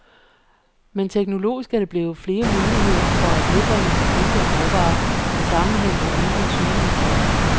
Men teknologisk er der blevet flere muligheder for at nedbringe forbruget af råvarer, så sammenhængen er mindre tydelig end før.